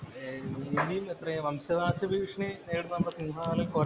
ഇനി എത്രയാ വംശനാശ ഭീഷണി നേരിടുന്ന സിംഹവാലന്‍ കൊരങ്ങന്‍